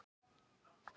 En Magnús